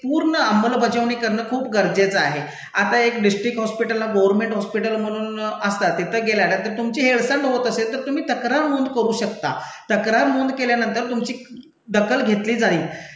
पूर्ण अंमलबजावणी करणं खूप गरजेचं आहे. आता एक डिस्ट्रिक्ट हॉस्पिटलला, गर्व्हनमेंट हॉस्पिटल म्हणून असतात तिथं गेल्यानंतर तुमची हेळसांड होत असेल तर तुम्ही तक्रार नोंद करू शकता. तक्रार नोंद केल्यानंतर तुमची दखल घेतली जाईल.